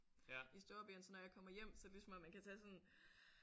I storbyen så når jeg kommer hjem så er det ligesom om man kan tage sådan